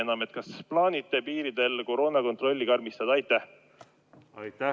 Kas te plaanite piiridel koroonakontrolli karmistada?